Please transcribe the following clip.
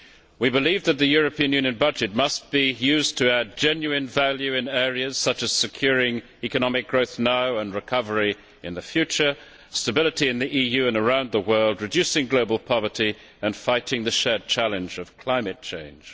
We believe that the European Union budget must be used to add genuine value in areas such as securing economic growth now, and recovery in the future, stability in the EU and around the world, reducing global poverty and fighting the shared challenge of climate change.